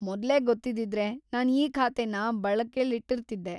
‌ಮೊದ್ಲೇ ಗೊತ್ತಿದ್ದಿದ್ರೆ ನಾನ್ ಈ ಖಾತೆನ ಬಳಕೆಲಿಟ್ಟಿರ್ತಿದ್ದೆ.